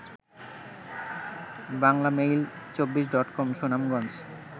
বাংলামেইল২৪ডটকম Sunamganj